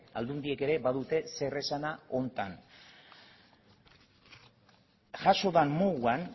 aldundiek ere badute zeresana honetan jaso den moduan